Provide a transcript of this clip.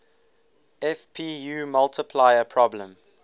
fpu multiplier problem